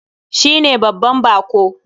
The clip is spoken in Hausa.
Shi ne babban bako.